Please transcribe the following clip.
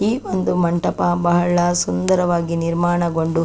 ಈ ಒಂದು ಮಂಟಪ ಬಹಳ ಸುಂದರವಾಗಿ ನಿರ್ಮಾಣಗೊಂಡು --